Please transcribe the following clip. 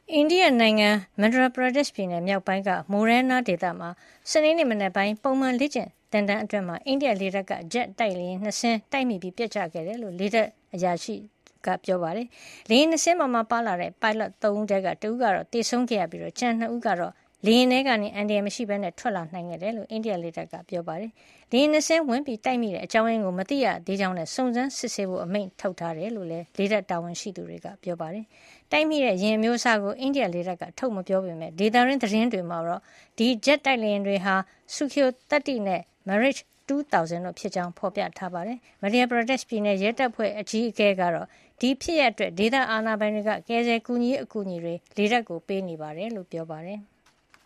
အိန္ဒိယနိုင်ငံ Madhya Pradesh ပြည်နယ် မြောက်ပိုင်း Morena ဒေသမှာ စနေနေ့ မနက်ပိုင်း ပုံမှန် လေ့ကျင့်သင်တန်းအတွင်း အိန္ဒိယလေတပ်က ဂျက်တိုက်လေယာဉ် ၂ စင်း တိုက်မိပြီး ပျက်ကျခဲ့တယ်လို့ လေတပ်တာဝန်ရှိသူတွေက ပြောပါတယ်။ လေယာဉ် ၂ စင်းပေါ် ပါလာတဲ့ ပိုင်းလော့ ၃ ဦးထဲက တဦးကတော့ သေဆုံးခဲ့ရပြီး ကျန် ၂ ဦးကတော့ လေယာဉ်ထဲကနေ အန္တရာယ်မရှိပဲ ထွက်လာနိုင်ခဲ့တယ်လို့ အိန္ဒိယ လေတပ်က ပြောပါတယ်။ လေယာဉ် ၂ စင်း ဝင်တိုက်မိတဲ့ အကြောင်းရင်းကိုတော့ မသိရသေးကြောင်းနဲ့ စုံစမ်းစစ်ဆေးဖို့ အမိန့်ထုတ်ထားကြောင်းလည်း လေတပ်တာဝန်ရှိသူတွေက ပြောပါတယ် တိုက်မိတဲ့ ယဉ်အမျိုးအစားကို အိန္ဒိယလေတပ်က ထုတ်မပြောပေမယ့် ဒေသတွင်း သတင်းတွေမှာတော့ ဒီဂျက်တိုက်လေယာဉ် တွေဟာ Sukhoi-30 နဲ့ MIrage-2000 တို့ ဖြစ်ကြောင်း ဖေါ်ပြပါတယ်။ Madhya Pradesh ပြည်နယ် ရဲတပ်ဖွဲ့ အကြီးအကဲကတော့ ဒီဖြစ်ရပ်အတွက် ဒေသအာဏာပိုင်တွေက ကယ်ဆယ်ကူညီရေး အကူညီတွေ လေတပ်ကို ပေးနေတယ်လို့ ပြောပါတယ်။